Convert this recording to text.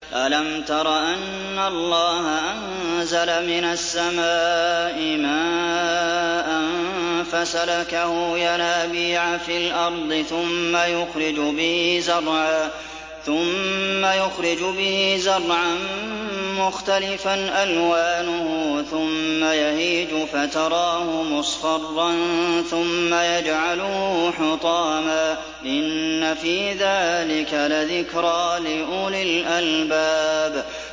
أَلَمْ تَرَ أَنَّ اللَّهَ أَنزَلَ مِنَ السَّمَاءِ مَاءً فَسَلَكَهُ يَنَابِيعَ فِي الْأَرْضِ ثُمَّ يُخْرِجُ بِهِ زَرْعًا مُّخْتَلِفًا أَلْوَانُهُ ثُمَّ يَهِيجُ فَتَرَاهُ مُصْفَرًّا ثُمَّ يَجْعَلُهُ حُطَامًا ۚ إِنَّ فِي ذَٰلِكَ لَذِكْرَىٰ لِأُولِي الْأَلْبَابِ